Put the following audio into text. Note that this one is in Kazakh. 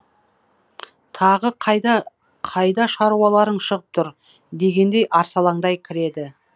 тағы қайда қайда шаруаларың шығып тұр дегендей арсалаңдай кіреді